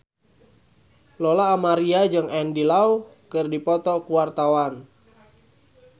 Lola Amaria jeung Andy Lau keur dipoto ku wartawan